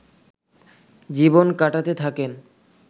জীবন কাটাতে থাকেন